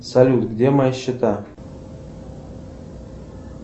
салют где мои счета